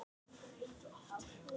Hún brosti líka.